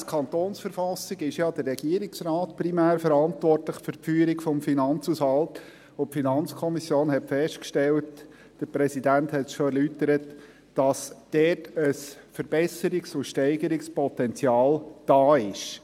Gemäss Verfassung des Kantons Bern (KV) ist ja primär der Regierungsrat für die Führung des Finanzhaushalts zuständig, und die FiKo hat festgestellt – deren Präsident hat es bereits erläutert –, dass dort ein Verbesserungs- und Steigerungspotenzial da ist.